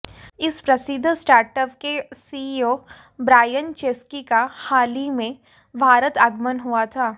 इस प्रसिद्ध स्टार्टअप के सीईओ ब्रायन चेस्की का हाल ही में भारत आगमन हुआ था